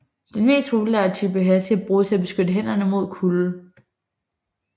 Den mest populære type handske bruges til at beskytte hænderne mod kulde